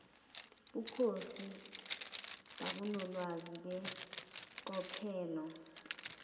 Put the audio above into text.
bukhosi babunolwazi beqophelo